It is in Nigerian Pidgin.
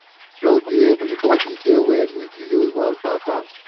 no be everybody dey well if you use one pattern.